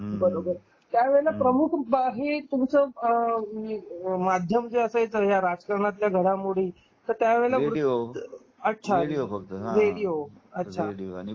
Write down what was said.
बरोबर त्या वेळेला प्रमुख हे तुमचं त्या माध्यम जे असायचं ह्या राजकारणातल्या घडामोडी समजायला तर त्या वेळेला रेडिओ अच्छा अच्छा.